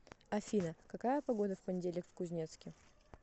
афина какая погода в понедельник в кузнецке